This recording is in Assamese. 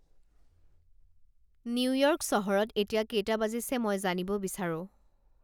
নিউয়ৰ্ক চহৰত এতিয়া কেইটা বাজিছে মই জানিব বিচাৰোঁ